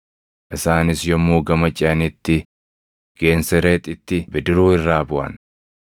Isaanis yommuu gama ceʼanitti Geensereexitti bidiruu irraa buʼan.